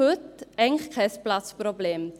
Heute haben wir eigentlich kein Platzproblem.